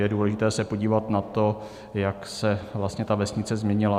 Je důležité se podívat na to, jak se vlastně ta vesnice změnila.